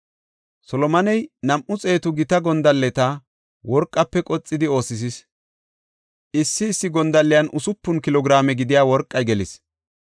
Solomoney nam7u xeetu gita gondalleta worqafe qoxidi oosisis. Issi issi gondalliyan usupun kilo giraame gidiya worqey gelis.